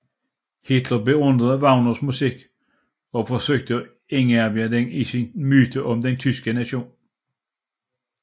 Hitler beundrede Wagners musik og forsøgte at indarbejde den i sin myte om den tyske nation